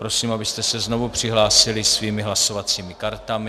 Prosím, abyste se znovu přihlásili svými hlasovacími kartami.